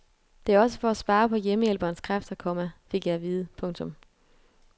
Det er også for at spare på hjemmehjælperens kræfter, komma fik jeg at vide. punktum